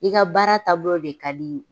I ka baara taabolo de ka di